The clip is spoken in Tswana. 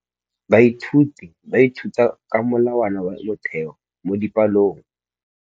Baithuti ba ithuta ka molawana wa motheo mo dipalong.